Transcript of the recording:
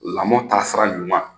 Lamɔ taasira ɲuman